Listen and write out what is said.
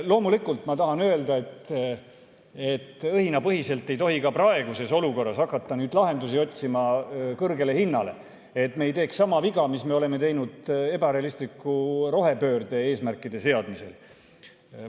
Loomulikult tahan ma öelda, et õhinapõhiselt ei tohi ka praeguses olukorras hakata kõrgele hinnale lahendusi otsima, et me ei teeks sama viga, mille me oleme teinud ebarealistliku rohepöörde eesmärkide seadmisel.